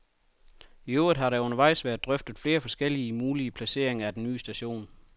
I øvrigt har der undervejs været drøftet flere forskellige mulige placeringer af den nye station.